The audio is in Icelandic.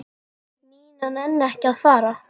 Nína nenni ekki að fara.